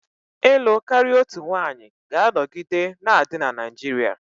ịlụ karịa otu nwanyị ga-anọgide na-adị na Naijiria